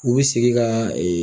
U bɛ sigi kaaa